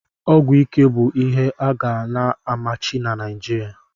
Ọgwụ ike bụ ihe a ga na-amachi na Naijiria.